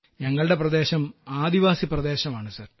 ഞങ്ങളുടെ പ്രദേശം ആദിവാസി പ്രദേശമാണ് സർ